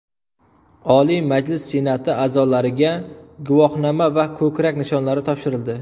Oliy Majlis Senati a’zolariga guvohnoma va ko‘krak nishonlari topshirildi.